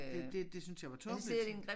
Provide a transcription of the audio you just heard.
Det det det syntes jeg var tåbeligt